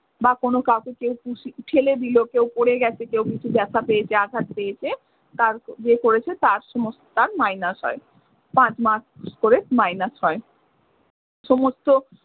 বা কোনো কাউকে কেউ pushing ঠেলে দিল কেউ পড়ে গেছে কেউ কিছু ব্যাথা পেয়েছে, আঘাত পেয়েছে। তার যে করেছে তার সমস্ত তার minus হয়। পাঁচ marks ক'রে minus হয় সমস্ত